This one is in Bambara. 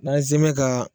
N'an ye zɛmɛ ka